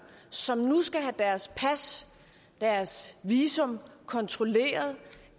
som nu skal have deres pas deres visum kontrolleret